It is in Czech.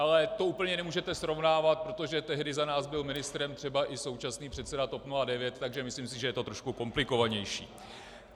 Ale to úplně nemůžete srovnávat, protože tehdy za nás byl ministrem třeba i současný předseda TOP 09, takže si myslím, že je to trošku komplikovanější.